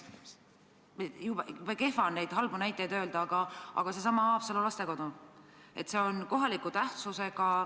Kehv on neid halbu näiteid meelde tuletada, aga näiteks Haapsalu lastekodus juhtunu.